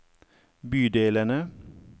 bydelene